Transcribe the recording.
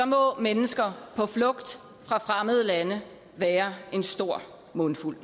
må mennesker på flugt fra fremmede lande være en stor mundfuld